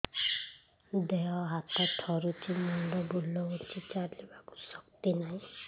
ଦେହ ହାତ ଥରୁଛି ମୁଣ୍ଡ ବୁଲଉଛି ଚାଲିବାକୁ ଶକ୍ତି ନାହିଁ